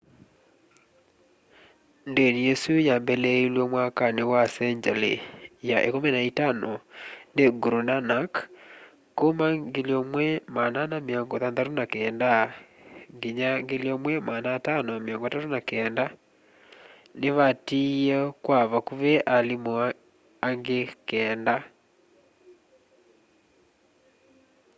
ndini isu yambiliiilw'e mwakani senjali ya 15 ni guru nanak kuma 1469-1539 ni vaatiie kwa vakuvi alimu angi keenda